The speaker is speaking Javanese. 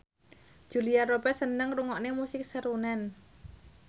Julia Robert seneng ngrungokne musik srunen